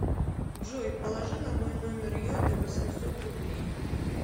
джой положи на мой номер йоты восемьсот рублей